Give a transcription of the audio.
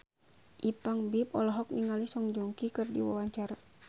Ipank BIP olohok ningali Song Joong Ki keur diwawancara